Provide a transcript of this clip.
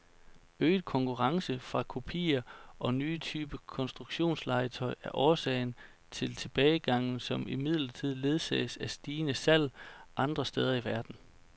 Øget konkurrence fra kopier og nye typer konstruktionslegetøj er årsag til tilbagegangen, som imidlertid ledsages af stigende salg andre steder i verden.